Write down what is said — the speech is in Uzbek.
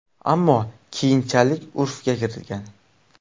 Ammo keyinchalik urfga kirgan.